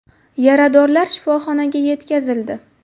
Yaradorlar shifoxonaga yetkazildi.